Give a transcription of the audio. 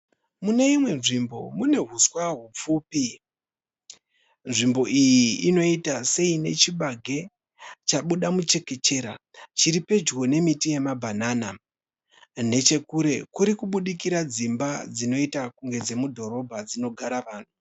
Mune imwe nzvimbo mune huswa hupfupi. Nzvimbo iyi inoita seine chibage chabuda muchekechera chiri pedyo nemiti yemabhanana. Nechekure kuri kubudikira dzimba dzinoita kunge dzemudhorobha dzinogara vanhu.